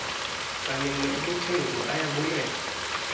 kanene ubuthe nguayabulela